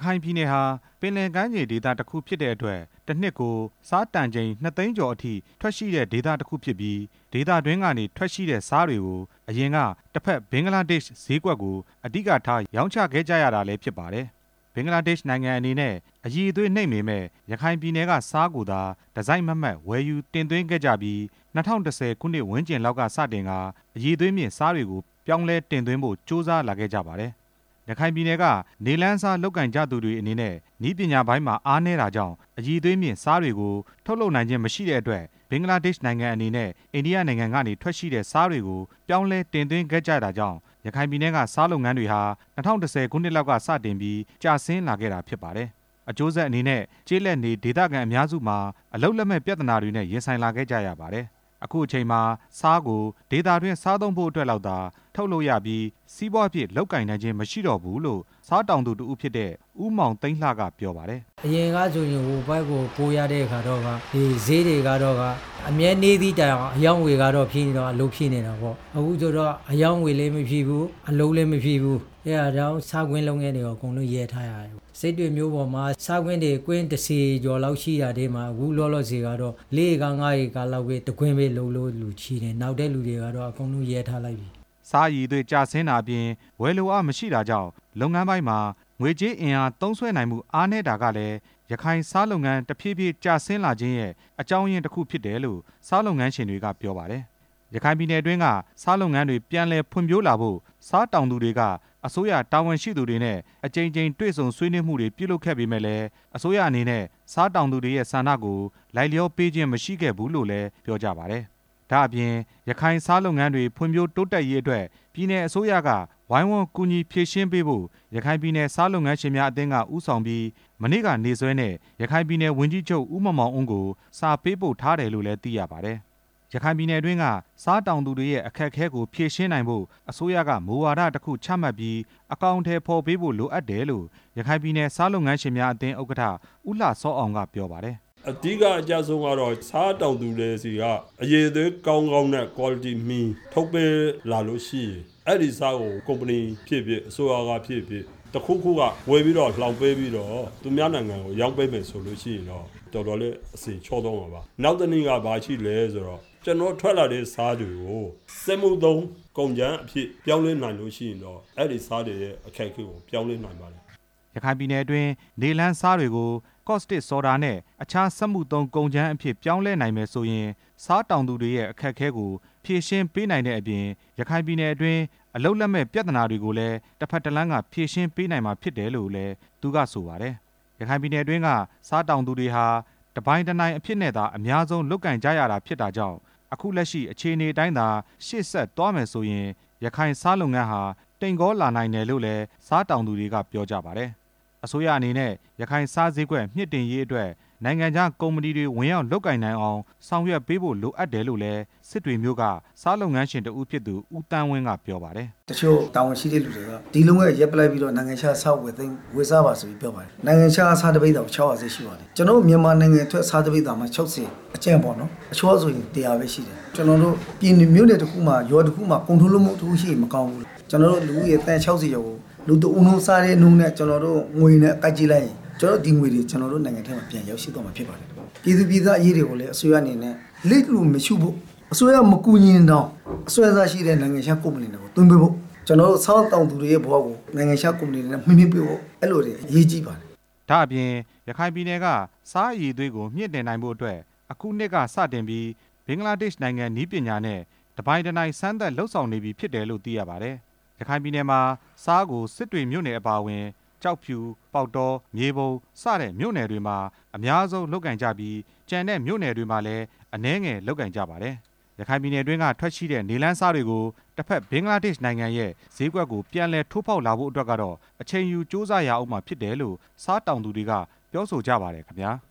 ခိုင်ပြည်နယ်ဟာ ပင်လယ်ကမ်းခြေဒေသတစ်ခုဖြစ်တဲ့အတွက် တစ်နှစ်ကို ဆားတန်ချိန် ၂ သိန်း ကျော်အထိ ထွက်ရှိတဲ့ဒေသတစ်ခုဖြစ်ပြီး ဒေသတွင်းကနေထွက်ရှိတဲ့ဆားတွေကို အရင်က တစ်ဘက် ဘင်္ဂလားဒေ့ရ်ှ ဈေးကွက် ကို အဓိကထား ရောင်းချခဲ့ ကြရတာလည်းဖြစ်ပါတယ်။ ဘင်္ဂလားဒေ့ရ်ှနိုင်ငံအနေနဲ့ အရည်အသွေးနိမ့်ပေမယ့် ရခိုင်ပြည်နယ်က ဆားကိုသာ တစိုက်မတ်မတ် ဝယ်ယူ တင်သွင်းခဲ့ကြပြီး ၂၀၁၀ ခုနှစ်ဝန်းကျင်လောက်ကစတင်ကာ အရည်အသွေးမြင့် ဆားတွေကို ပြောင်းလဲ တင်သွင်းဖို့ ကြိုးစားလာခဲ့ကြပါတယ်။ ရခိုင်ပြည်နယ်က နေလှန်းဆားလုပ်ကိုင်သူတွေအနဲ့ နည်းပညာပိုင်းမှာ အားနည်းတာကြောင့် အရည် အသွေးမြင့် ဆားတွေကိုထုတ်လုပ်နိုင်ခြင်းမရှိတဲ့အတွက် ဘင်္ဂလားဒေ့ရ်ှနိုင်ငံအနေနဲ့ အိန္ဒိယနိုင်ငံ ကနေထွက်ရှိတဲ့ ဆားတွေ ကို ပြောင်းလဲတင်သွင်းခဲ့ကြတာကြောင့် ရခိုင်ပြည်နယ်က ဆားလုပ်ငန်း တွေဟာ ၂၀၁၀ ခုနှစ်လောက်က စတင်ပြီး ကျဆင်းခဲ့တာဖြစ်ပါတယ်။ အကျိုးဆက်အနေနဲ့ ကျေးလက်နေဒေသခံအများစုမှာ အလုပ်လက်မဲ့ပြဿနာတွေနဲ့ ရင်ဆိုင်လာ ခဲ့ကြရပါတယ်။ အခုအချိန်မှာ ဆားကိုဒေသတွင်းစားသုံးဖို့အတွက်လောက်ဟာ ထုတ်လုပ်ရပြီး စီးပွားဖြစ်လုပ်ကိုင် နိုင်ခြင်း မရှိတော့ဘူးလို့ ဆားတောင်သူတစ်ဦးဖြစ်တဲ့ ဦးမောင်သိန်းလှကပြောပါတယ်။ အရင်ကဆိုရင် ဟိုဘက်ကိုပို့ရတဲ့အခါကျတော့ ဈေးတွေက အမြဲနည်းသည့် တိုင်အောင် အမြဲအရောင်းအဝယ်ကဖြစ်နေတော့ အလုပ်ဖြစ်နေတာပေါ့၊ အခုဆိုရင်တော့ အရောင်းအဝယ် လည်းမဖြစ်ဘူး၊ အလုပ်လည်းမဖြစ်ဘူး၊ အဲ့ဒါကြောင့် ဆားကွင်းလုပ်ငန်းတွေကို အကုန်လုံးရပ်ထားရတယ်၊ စစ်တွေမြို့ပေါ်မှာ ဆားကွင်းတွေကျင်း ၁ဝ ကျော်လောက်ရှိတာထဲမှာ အခုလောလောဆယ်ကတော့ ၄ ဧက၊ ၅ဧကလောက်ပဲ တစ်ကွင်းပဲ အလုပ်လုပ်တဲ့လူရှိတယ်၊ နောက်ထပ်လူတွေကတော့ အကုန်လုံးရပ်ထားလိုက်ပြီ။ ဆားအရည်အသွေးကျဆင်းတာအပြင် ဝယ်လိုအားမရှိတာကြောင့် လုပ်ငန်းပိုင်းမှာ ငွေကြေးအင်အား သုံးစွဲနိုင်မှုအားနည်းတာကလည်း ရခိုင်ဆားလုပ်ငန်းတစ်ဖြည်းဖြည်းကျဆင်းရခြင်းရဲ့ အကြောင်းရင်း တစ်ခုဖြစ်တယ်လို့ ဆားလုပ်ငန်းရှင်တွေက ပြောပါတယ်။ ရခိုင်ပြည်နယ်အတွင်းက ဆားလုပ်ငန်းတွေ ပြန်လည်ဖွံ့ဖြိုးလာဖို့ ဆားတောင်သူတွေက အစိုးရတာဝန် ရှိသူတွေနဲ့ အကြိမ်ကြိမ်တွေ့ဆုံဆွေးနွေးမှုတွေပြုလုပ်ခဲ့ပေမယ့်လည်း အစိုးရအနေနဲ့ ဆားတောင်သူ တွေရဲ့ဆန္ဒကို လိုက်လျောပေးခြင်းမရှိခဲ့ဘူးလို့လည်းပြောကြပါတယ်။ ဒါ့အပြင် ရခိုင်ဆားလုပ်ငန်းတွေ ဖွံ့ဖြိုးတိုးတက်ရေးအတွက် ပြည်နယ်အစိုးရက ဝိုင်းဝန်းကူညီဖြေရှင်း ပေးဖို့ ရခိုင်ပြည်နယ် ဆားလုပ်ငန်းရှင်များအသင်းက ဦးဆောင်ပြီး မနေ့ကနေ့စွဲနဲ့ ရခိုင်ပြည်နယ် ဝန် ကြီးချုပ် ဦးမောင်မောင်အုန်းကို စာပေးပို့ထားတယ်လို့လည်း သိရှိရပါတယ်။ ရခိုင်ပြည်နယ်အတွင်းက ဆားတောင်သူတွေရဲ့ အခက်အခဲကိုဖြေရှင်းနိုင်ဖို့ အစိုးရက မူဝါဒတစ်ခုချ မှတ်ပြီး အကောင်အထည်ဖော်ပေးဖို့ လိုအပ်တယ်လို့ ရခိုင်ပြည်နယ် ဆားလုပ်ငန်းရှင်းများအသင်း ဥက္ကဌ ဦးလှစောအောင် ကပြောပါတယ်။ အဓိကအကျဆုံးကတော့ ဆားတောင်သူတွေဆီက အရည်အသွေးကောင်းကောင်း နဲ့ ကွာလတီမှီထုတ်ပေးလာလို့ရှိရင် အဲ့ဒီဆားကို ကုမ္ပဏီဖြစ်ဖြစ်၊ အစိုးရကဖြစ်ဖြစ် တစ်ခုခုကဝယ် ပြီးတော့ လှောင်ပေးပြီးတော့ သူများနိုင်ငံကို ရောင်းပေးနိုင်လို့ရှိရင်တော့ တော်တော်လေး အဆင်ချောသွားမှာပါ ၊ နောက်တစ်နည်းက ဘာရှိလဲဆိုတော့ ကျနော်တို့ ထွက်လာတဲ့ဆားတွေကို စက်မှုသုံးကုန်ကြမ်းအဖြစ် သုံးစွဲနိုင် လို့ရှိရင်တော့ အဲ့ဒီဆားတွေရဲ့ အခက်အခဲကို ပြောင်းလဲနိုင်ပါလိမ့်မယ်။ ရခိုင်ပြည်နယ်အတွင်း နေလှန်းဆားတွေကို ကော့စတစ်ဆော်ဒါနဲ့ အခြားစက်မှုသုံးကုန်ကြမ်းအဖြစ် ပြောင်း လဲနိုင်မယ်ဆိုရင် ဆားတောင်သူတွေရဲ့ အခက်အခဲကို ဖြေရှင်းပေးနိုင်တဲ့အပြင် ရခိုင်ပြည်နယ် အတွင်း အလုပ်လက်မဲ့ပြဿနာတွေကိုလည်း တစ်ဘက်တစ်လမ်းက ဖြေရှင်းပေးနိုင်မှာဖြစ်တယ်လို့ လည်း သူကဆိုပါတယ်။ ရခိုင်ပြည်နယ်အတွင်းက ဆားတောင်သူတွေဟာ တစ်ပိုင်တစ်နိုင်အဖြစ်နဲ့သာ အများဆုံးလုပ်ကိုင်ကြရ တာဖြစ်တာကြောင့် အခုလက်ရှိအခြေအနေအတိုင်းသာရှေ့ဆက်သွားမယ်ဆိုရင် ရခိုင်ဆားလုပ် ငန်းဟာ တိမ်ကောလာနိုင်တယ်လို့လည်း ဆားတောင်သူတွေက ပြောကြပါတယ်။ အစိုးရအနေနဲ့ ရခိုင်ဆားဈေးကွက် မြင့်တင်ရေးအတွက် နိုင်ငံခြားကုမ္ပတွေ ဝင်ရောက်လုပ်ကိုင် နိုင်အောင် ဆောင် ရွက်ပေးဖို့ လိုအပ်တယ်လို့လည်း စစ်တွေမြို့က ဆားလုပ်ငန်းရှင်တစ်ဦးဖြစ်သူ ဦးသန်းဝင်းကပြောပါတယ်။ တစ်ချို့တာဝန်ရှိတဲ့လူတွေက ဒီလုပ်ငန်းကိုရပ်လိုက်ပြီးတော့ နိုင်ငံခြားက ဆားကိုဝယ် စားပါလို့ပြောပါတယ်၊ နိုင်ငံခြားကဆားတစ်ပိဿာကို ၆ဝဝ ဈေးနှုန်းရှိပါတယ်၊ ကျနော်တို့မြန်မာနိုင်ငံထွက် ဆားတစ်ပိဿာမှ ၆ဝ အကြမ်းပေါ့နော်၊ အချောဆိုရင် ၁ဝဝ ပဲရှိတယ်၊ ကျနော်တို့ မြို့နယ်တစ်ခုမှာ ရွာတစ်ခုမှာ ကုန်ထုတ်လုပ်မှုတစ်ခုရှိရင် မကောင်ဘူးလား၊ ကျနော်တို့လူဦးရေသန်း ၆ဝ ကျော်ကို လူတစ်ဦးနှုန်းစားတဲ့နှုန်းနဲ့ ကျနော်တို့ ငွေနဲ့တွက်လိုက်ရင် ကျနော်တို့ ဒီငွေတွေ ကျနော်တို့နိုင်ငံအပြင် ရောက်ရှိသွားမှာဖြစ်ပါတယ်။ ဒါ့အပြင် ရခိုင်ပြည်နယ်က ဆားအရည်အသွေးကိုမြင့်တင်နိုင်ဖို့အတွက် အခုနှစ်ကစတင်ပြီး ဘင်္ဂလား ဒေ့ရ်ှနိုင်ငံနည်းပညာနဲ့ တစ်နိုင်တစ်ပိုင် စမ်းသပ်လုပ်ဆောင်နေပြီဖြစ်တယ်လို့သိရပါတယ်။ ရခိုင်ပြည်နယ်မှာ ဆားကို စစ်တွေမြို့နယ်အပါအဝင် ကျောက်ဖြူ၊ ပေါက်တော၊ မြေပုံစတဲ့မြို့နယ် တွေမှာ များဆုံးလုပ်ကိုင်ကြပြီး ကျန်တဲ့မြို့နယ်တွေမှာလည်း အနည်းငယ်လုပ်ကိုင်ကြပါတယ်။ ရခိုင်ပြည်နယ်အတွင်းက ထွက်ရှိတဲ့ နေလှန်းဆားတွေကို တစ်ဘက်ဘင်္ဂလားဒေ့ရ်ှနိုင်ငံရဲ့ ဈေးကွက် ကို ပြန်လည်ထိုးဖောက်ဖို့အတွက်ကတော့ အချိန်ယူကြိုးစားရဦးမှာဖြစ်တယ်လို့ ဆားတောင်သူတွေ က ပြောဆိုကြပါတယ်ခင်ဗျား။